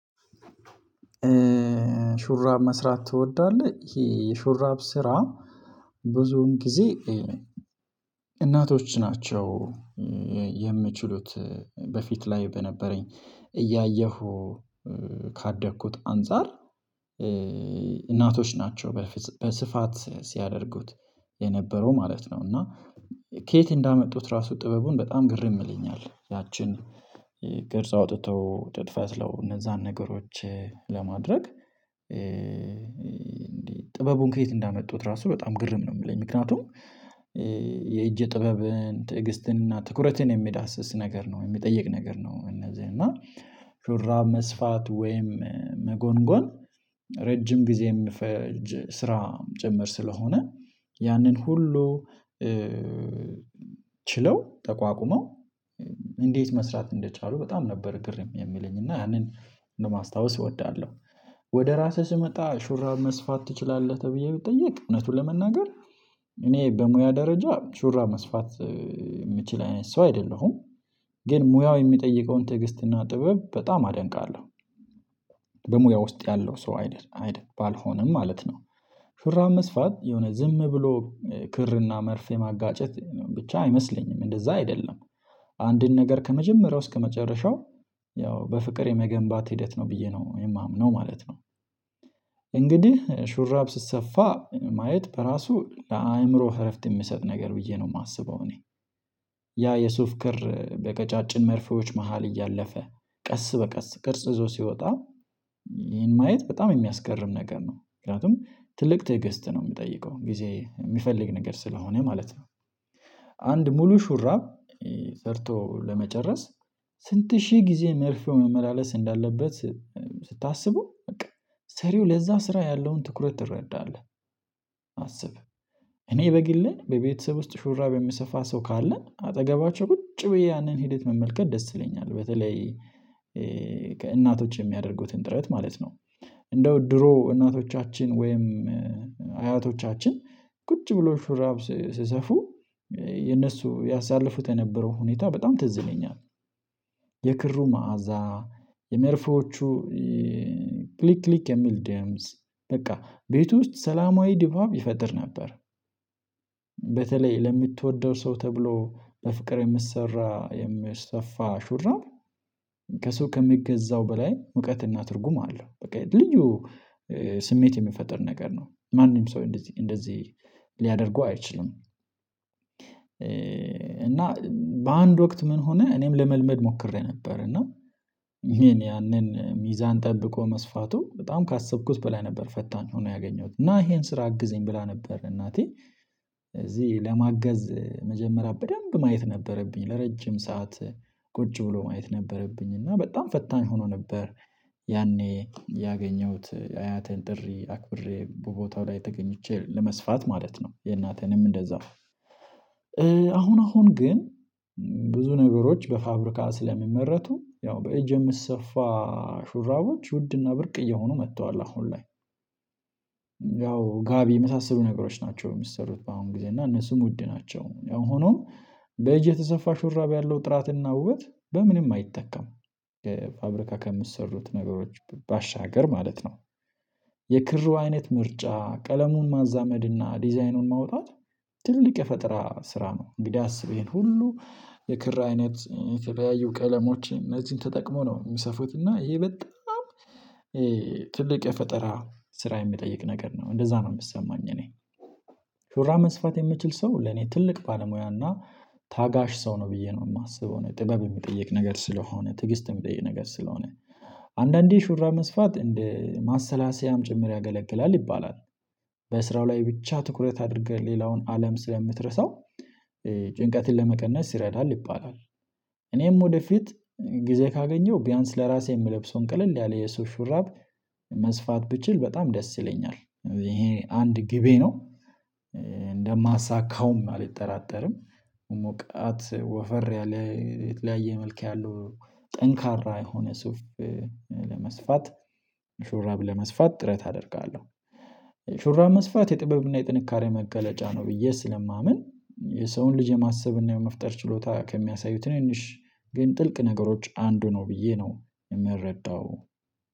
ሹራብ መስራት ትወዳለህ? ይሄ የሹራብ ስራ ብዙን ጊዜ። እናቶች ናቸው። የምችሉት በፊት ላይ በነበረኝ እያየሁ ካደግኩት አንፃር። እናቶች ናቸው በስፋት ሲያደርጉት የነበረው ማለት ነው። እና ከየት እንዳመጡት ራሱ ጥበቡን በጣም ግርምይለኛል። ያችን ግርጽ አውጥተው ጥጥ ፈትለው እነዛን ነገሮች ለማድረግ። ጥበቡን ከየት እንዳመጡት ራሱ በጣም ግርም ነው የምለኝ። ምክንያቱም የእጅ ጥበብን ትዕግስትን እና ትኩረትን የሚዳስስ ነገር ነው የሚጠይቅ ነገር ነው። እነዚህ እና ሹራብመስፋት ወይም መጎንጎን ረጅም ጊዜ የሚፈጅ ስራ ጭምር ስለሆነ ያንን ሁሉ። ችለው ተቋቁመው እንዴት መስራት እንደቻሉ በጣም ነበር ግርም የሚለኝ እና ያንን ነው ማስታወስ እወዳለሁ። ወደ ራስህ ስመጣ ሹራብ መስፋት ትችላለህ? ተብዬ ብትጠይቅ እውነቱን ለመናገር እኔ በሙያ ደረጃ ሹራ መስፋት የምችል አይነት ሰው አይደለሁም። ግን ሙያው የሚጠይቀውን ትዕግስትና ጥበብ በጣም አደንቃለሁ። በሙያ ውስጥ ያለው ሰው አይደል አይደል ባልሆነም ማለት ነው። ፍርሃት መስፋት የሆነ ዝም ብሎ ክርና መርፌ ማጋጨት ብቻ አይመስለኝም እንደዛ አይደለም። አንድን ነገር ከመጀመሪያው እስከመጨረሻው ያው በፍቅር የመገንባት ሂደት ነው ብዬ ነው የማምነው ማለት ነው። እንግዲህ ሹራብ ሲሰሰፋ ማየት በራሱ ለአእምሮ እረፍት የምሰጥ ነገር ብዬ ነው የማስበው። እኔ ያ የሱፍ ክር በቀጫጭን መርፌዎች መሃል እያለፈ ቀስ በቀስ ቅርጽ ይዞ ሲወጣ ይሄን ማየት በጣም የሚያስገርም ነገር ነው። ምክንያቱም ትልቅ ትዕግስት ነው የምጠይቀው ጊዜ የሚፈልግ ነገር ስለሆነ ማለት ነው። አንድ ሙሉ ሹራብ ሰርቶ ለመጨረስ። ስንት ሺህ ጊዜ መርፌው መመላለስ እንዳለበት ስታስበው በቃ ሰሪው ለዛ ስራ ያለውን ትኩረት ትረዳለህ አስብ። እኔ በግልህ በቤተሰብ ውስጥ ሹራብ የምሰፋ ሰው ካለ አጠገባቸው ቁጭ ብዬ ያንን ሂደት መመልከት ደስ ይለኛል። በተለይ ከእናቶች የሚያደርጉትን ጥረት ማለት ነው። እንደው ድሮ እናቶቻችን ወይም አያቶቻችን ቁጭ ብሎ ሽራብ ሲሰፉ የነሱ ያሳለፉት የነበረው ሁኔታ በጣም ትዝ ይለኛል። የክሩ መዓዛ የመርፎዎቹ ክሊክ ክሊክየሚል ደምፅ በቃ ቤት ውስጥ ሰላማዊ ድባብ ይፈጥር ነበር። በተለይ ለምትወደው ሰው ተብሎ በፍቅር የምትሰራ የምትሰፋ ሹራር ከሚገዛው በላይ ሙቀትና ትርጉም አለው በቃ ልዩ ስሜት የሚፈጥር ነገር ነው። ማንም ሰው እንደዚህ እንደዚህ ሊያደርጉ አይችልም። እና በአንድ ወቅት ምን ሆነ እኔም ለመልመድ ሞክሬ ነበር እና ያንን ሚዛን ጠብቆ መስፋቱ በጣም ካሰብኩት በላይ ነበር ፈታኝ ሆኖ ያገኘሁት እና ይሄን ስራ አግዝኝ ብላ ነበር እናቴ። እዚህ ለማገዝ መጀመሪያ በደንብ ማየት ነበረብኝ ለረጅም ሰዓት ቁጭ ብሎ ማየት ነበረብኝ እና በጣም ፈታኝ ሆኖ ነበር። ያኔ ያገኘሁት አያቴን ጥሪ አክብሬ ቦታው ላይ ተገኝቼ ለመስፋት ማለት ነው የእናቴንም እንደዛው። አሁን አሁን ግን ብዙ ነገሮች በፋብሪካ ስለሚመረቱ ያው በእጅን የሚሰፋ ሹራቦች ውድና ብርቅ እየሆኑ መጥተዋል አሁን ላይ። ያው ጋቢ የመሳሰሉ ነገሮች ናቸው የሚሰሩት በአሁን ጊዜ እና እነሱም ውድ ናቸው። ያው ሆኖም በእጅ የተሰፋ ሹራብ ያለው ጥራትና ውበት በምንም አይተካም። ፋብሪካ ከምትሰሩት ነገሮች ባሻገር ማለት ነው። የክሩ አይነት ምርጫ ቀለሙን ማዛመድና ዲዛይኑን ማውጣት ትልቅ የፈጠራ ስራ ነው። እንግዲህ አስቤን ሁሉ የክራ አይነት የተለያየ ቀለሞችን እነዚህን ተጠቅሞ ነው የሚሰፉት እና ይሄ በጣም። ትልቅ የፈጠራ ስራ የሚጠይቅ ነገር ነው እንደዛ ነው የሚሰማኝ እኔ። ሹራብ መስፋት የምችል ሰው ለኔ ትልቅ ባለሙያና ታጋሽ ሰው ነው ብዬ ነው የማስበው ነው ጥበብ የሚጠይቅ ነገር ስለሆነ ትዕግስት የሚጠይቅ ነገር ስለሆነ። አንዳንዴ ሹራብ መስፋት እንደ ማሰላሰያም ጭምር ያገለግላል ይባላል በስራው ላይ ብቻ ትኩረት አድርገህ ሌላውን አለም ስለምትረሳው ጭንቀትን ለመቀነስ ይረዳል ይባላል። እኔም ወደፊት ጊዜ ካገኘው ቢያንስ ለራሴ የምለብሰውን ቀለል ያለ የሰው ሹራብ መስፋት ብችል በጣም ደስ ይለኛል። ይሄ አንድ ግቤ ነው። እንደማሳካውም አልጠራጠርም። ሞቃት ወፈር ያለ የተለያየ መልክ ያለው ጠንካራ የሆነ ሱፍ ለመስፋት ሹራብ ለመስፋት ጥረት አደርጋለሁ። ሹራብ መስፋት የጥበብ እና የጥንካሬ መገለጫ ነው ብዬ ስለማምን። የሰውን ልጅ የማሰብ እና የመፍጠር ችሎታ ከሚያሳዩት ትንንሽ ግን ጥልቅ ነገሮች አንዱ ነው ብዬ ነው። የምረዳው።